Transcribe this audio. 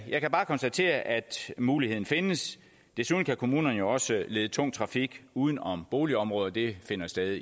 jeg kan bare konstatere at muligheden findes desuden kan kommunerne jo også lede tung trafik uden om boligområder det finder sted